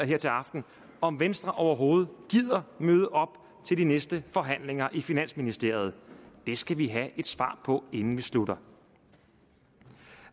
her til aften om venstre overhovedet gider at møde op til de næste forhandlinger i finansministeriet det skal vi have et svar på inden vi slutter